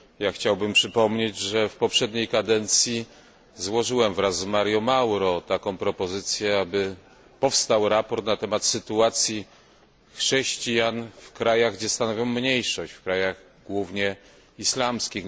Chciałbym przypomnieć, że w poprzedniej kadencji złożyłem wraz z Mario Mauro propozycję sporządzenia sprawozdania na temat sytuacji chrześcijan w krajach, gdzie stanowią mniejszość, w krajach głównie islamskich.